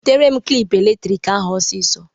Butere m klịp eletrik ahụ osisọ!